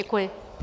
Děkuji.